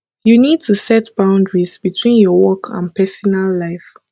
you need to set boundaries between your work and pesinal life